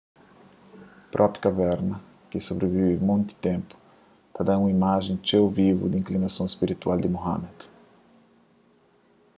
própri kaverna ki sobrivive monti ténpu ta da un imajen txeu vivu di inklinason spiritual di muhammad